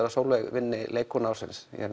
að Sóley vinni leikkona ársins ég er